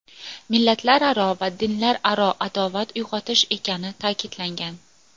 millatlararo va dinlararo adovat uyg‘otish ekani ta’kidlangan.